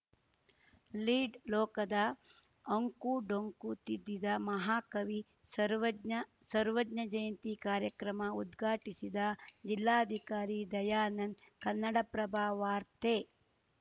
lead ಲೋಕದ ಅಂಕು ಡೊಂಕು ತಿದ್ದಿದ ಮಹಾಕವಿ ಸರ್ವಜ್ಞ ಸರ್ವಜ್ಞ ಜಯಂತಿ ಕಾರ್ಯಕ್ರಮ ಉದ್ಘಾಟಿಸಿದ ಜಿಲ್ಲಾಧಿಕಾರಿ ದಯಾನಂದ್ ಕನ್ನಡಪ್ರಭ ವಾರ್ತೆ